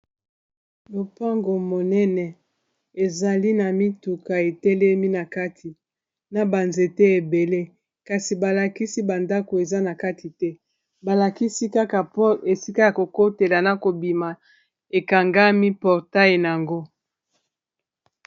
lopango monene ezali na mituka etelemi na kati na banzete ebele kasi balakisi bandako eza na kati te balakisi kaka po esika ya kokotela na kobima ekangami portai yango